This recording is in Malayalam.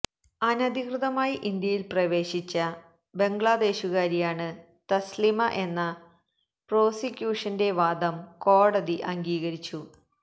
അനധികൃതമായി ഇന്ത്യയില് പ്രവേശിച്ച ബംഗ്ലാദേശുകാരിയാണ് തസ്ലിമ എന്ന പ്രോസിക്യൂഷന്റെ വാദം കോടതി അംഗീകരിച്ചു